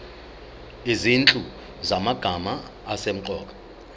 izinhlu zamagama asemqoka